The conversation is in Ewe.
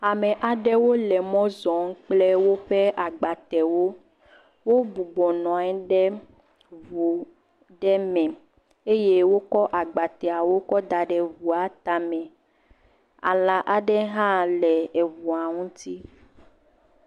Ame aɖewo le mɔ zɔm kple woƒe agbatewo. Wobɔnɔ anyi ɖe eŋu ɖe me eye wokɔ agbateawo kɔ da ɖe eŋua tame. Alã aɖe hã le eŋu ŋuti.